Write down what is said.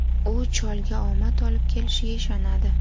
U cholga omad olib kelishiga ishonadi.